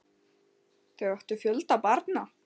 Þau áttu fjölda barna.